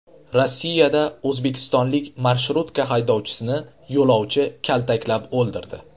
Rossiyada o‘zbekistonlik marshrutka haydovchisini yo‘lovchi kaltaklab o‘ldirdi.